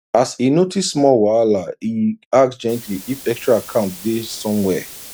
as e notice small whahala e ask gently if extra account day somewhere